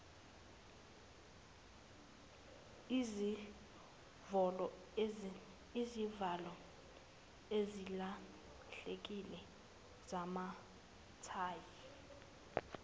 izivalo ezilahlekile zamathayi